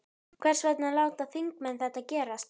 Hvers vegna láta þingmenn þetta gerast?